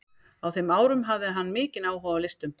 Á þeim árum hafði hann mikinn áhuga á listum.